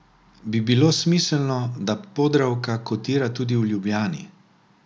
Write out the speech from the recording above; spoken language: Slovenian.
Bi bilo smiselno, da Podravka kotira tudi v Ljubljani?